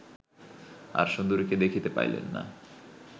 আর সুন্দরীকে দেখিতে পাইলেন না